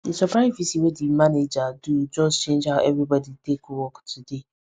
the surprise visit wey the manager do just change how everybody take work today